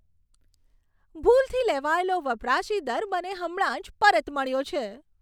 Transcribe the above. ભૂલથી લેવાયેલો વપરાશી દર મને હમણાં જ પરત મળ્યો છે.